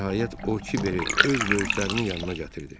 Nəhayət, o kibəri öz böyüklərinin yanına gətirdi.